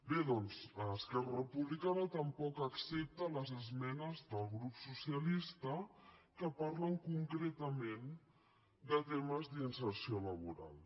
bé doncs esquerra republicana tampoc accepta les esmenes del grup socialista que parlen concretament de temes d’inserció laboral